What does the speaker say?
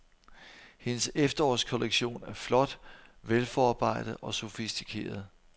Hendes efterårskollektion er flot, velforarbejdet og sofistikeret.